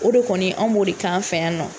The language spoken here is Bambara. O de kɔni anw b'o de kan fɛ yan nɔ.